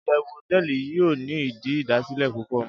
iyewu hoteeli yio ni idi idasile pupo